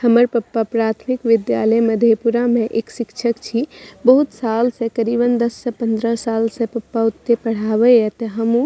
हमर पप्पा प्राथमिक विद्यालय मधेपुरा में एक शिक्षक छी। बहुत साल से करीबन दस से पंद्रह साल से पप्पा उत्ते पढ़ावे त हमहुँ --